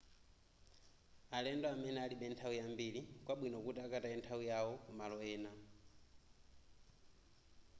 alendo amene alibe nthawi yambiri nkwabwino kuti akataye nthawiyo ku malo ena